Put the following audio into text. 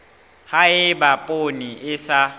ha eba poone e sa